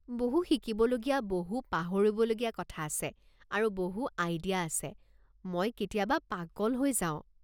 বহু শিকিবলগীয়া, বহু পাহৰিবলগীয়া কথা আছে, আৰু বহু আইডিয়া আছে, মই কেতিয়াবা পাগল হৈ যাওঁ।